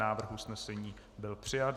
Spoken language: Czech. Návrh usnesení byl přijat.